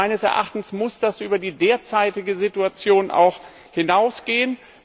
Meines Erachtens muss das über die derzeitige Situation hinausgehen.